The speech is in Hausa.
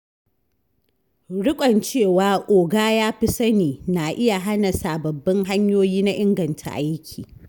Rikon cewa “oga ya fi sani” na iya hana sababbin hanyoyi na inganta aiki.